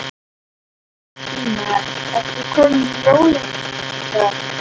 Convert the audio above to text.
Sunna: En ertu kominn í jólaskap?